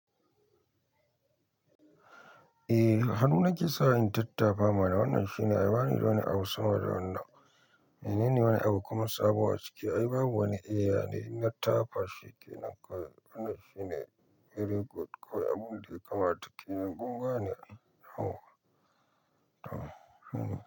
Eh, a hannu nake sawa in tattafa mana, wannan shine ai bani wani abu sama da wannan. Menene wani abu kuma sabo a ciki ai babu wani iya ne na tafashe kenan kawai wannan shine very good kawai abin da ya kamata. Kin yi gunguwa ne? Oh oh hmm.